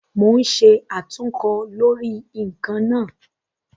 Mo ń ṣe àtúnkọ lórí ǹkan náà